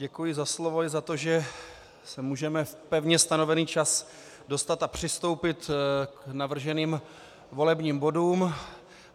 Děkuji za slovo i za to, že se můžeme v pevně stanovený čas dostat a přistoupit k navrženým volebním bodům.